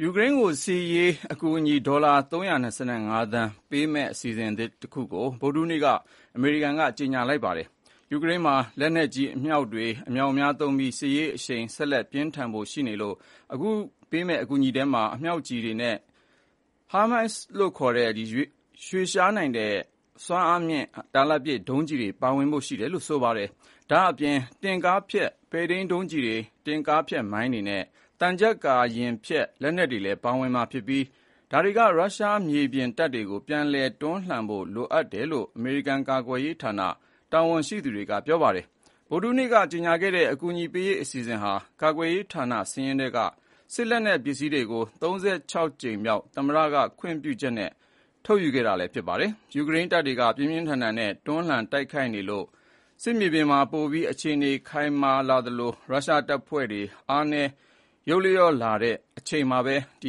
ယူကရိန်းကို စစ်ရေးအကူအညီ ဒေါ်လာ ၃၂၅ သန်းဖိုးပေးမယ့် အစီအစဥ်သစ်တခုကို ဗုဒ္ဓဟူးနေ့မှာ အမေရိကန်ကကြေညာလိုက်ပါတယ်။ ယူကရိန်းမှာ လက်နက်ကြီး၊ အမြောက်တွေ အမြောက်အများသုံးပြီး စစ်ရေးအရှိန် ဆက်ပြင်းထန်ဖို့ရှိနေလို့ အခု ပေးမယ့်အကူအညီထဲမှာ အမြောက်ကျည်တွေနဲ့ ဟိုင်းမားစ်လို့ခေါ်တဲ့ ရွေ့လျားနိုင်စွမ်းမြင့်မားတဲ့ တာလတ်ပစ်ဒုံးကျည်တွေ ပါဝင်ဖို့ရှိတယ်လို့ ဆိုပါတယ်။ ဒါ့ပြင် တင့်ကားဖျက် ပဲ့ထိန်းဒုံးကျည်တွေ၊ တင့်ကားဖျက်မိုင်းတွေနဲ့ သံချပ်ကာယာဥ်ဖျက် လက်နက်တွေလည်း ပါဝင်မှာဖြစ်ပြီး ဒါတွေက ရုရှားမြေပြင်တပ်တွေကို ပြန်လည်တွန်းလှန်ဖို့လိုအပ်တယ်လို့ အမေရိကန်ကာကွယ်ရေးဌာန တာဝန်ရှိသူတွေက ပြောပါတယ်။ ဗုဒ္ဓဟူးနေ့က ကြေညာခဲ့တဲ့ အကူအညီပေးရေးအစီအစဉ်ဟာ ကာကွယ်ရေးဌာနစာရင်းထဲက စစ်လက်နက်ပစ္စည်းတွေကို ၃၆ ကြိမ်မြောက် သမ္မတခွင့်ပြုချက်နဲ့ ထုတ်ယူခဲ့တာလည်း ဖြစ်ပါတယ်။ ယူကရိန်းတပ်တွေက ပြင်းပြင်းထန်ထန်နဲ့ တွန်းလှန်တိုက်ခိုက်နေလို့ စစ်မြေပြင်မှာ ပိုပြီး အခြေအနေ ခိုင်မာလာသလို ရုရှားတပ်ဖွဲ့တွေ အားနည်းယုတ်လျော့လာတဲ့ အချိန်မှာ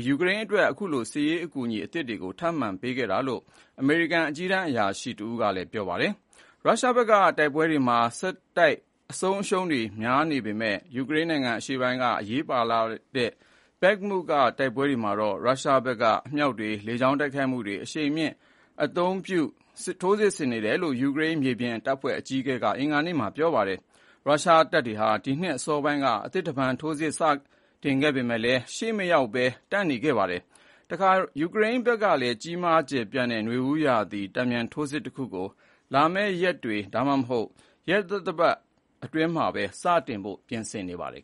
ယူကရိန်းအတွက် အခုလို စစ်ရေးအကူအညီသစ်တွေ ထပ်မံပေးခဲ့တာလို့ အမေရိကန် အကြီးတန်းအရာရှိတဦးက ပြောပါတယ်။ ရုရှားဘက်က တိုက်ပွဲတွေမှာ ဆက်တိုက်အဆုံးအရှုံးတွေများနေပေမယ့် ယူကရိန်းနိုင်ငံအရှေ့ပိုင်းက အရေးပါတဲ့ ဘက်မုမြို့က တိုက်ပွဲတွေမှာတော့ ရုရှားဘက်က အမြောက်တွေ၊ လေကြောင်းတိုက်ခိုက်မှုတွေ အရှိန်မြှင့်အသုံးပြု ထိုးစစ်ဆင်နေတယ်လို့ ယူကရိန်းမြေပြင်တပ်ဖွဲ့အကြီးအကဲက အင်္ဂါနေ့မှာ ပြောပါတယ်။ ရုရှားတပ်တွေဟာ ဒီနှစ် အစောပိုင်းကတည်းက အသစ်တဖန် ထိုးစစ်စတင်ခဲ့ပေမယ့် ရှေ့မရောက်ဘဲ တန့်နေခဲ့တာပါ။ တခါ ယူကရိန်းဘက်ကလည်း ကြီးမား ကျယ်ပြန့်တဲ့ နွေဦးရာသီ တန်ပြန်ထိုးစစ်ကြီးတခုကို လာမယ့် ရက်တွေ ဒါမှမဟုတ် ရက်သီတင်းပတ်တွေထဲမှာ စတင်နိုင်ဖို့ ပြင်ဆင်နေပါတယ်